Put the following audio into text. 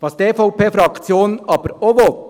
Was die EVP-Fraktion aber auch will: